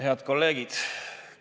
Head kolleegid!